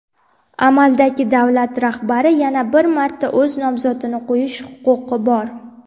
Amaldagi davlat rahbari yana bir marta o‘z nomzodini qo‘yish huquqi bor.